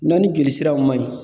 N'a ni joli siraw man ɲi